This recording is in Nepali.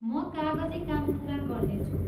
म कागजी काम पुरा गर्नेछु।